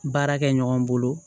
Baara kɛ ɲɔgɔn bolo